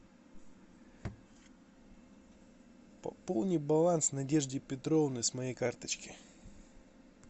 пополни баланс надежде петровне с моей карточки